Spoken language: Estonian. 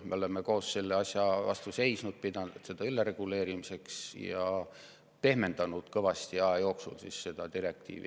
Me oleme koos selle asja vastu seisnud, pidanud seda ülereguleerimiseks ja aja jooksul seda direktiivi kõvasti pehmendanud.